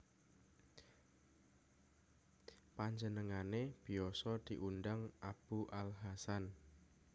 Panjenengane biasa diundang Abu al Hasan